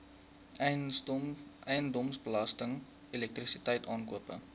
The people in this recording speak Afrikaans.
eiendomsbelasting elektrisiteit aankope